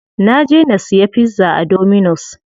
Na je na siya pizza a dominus.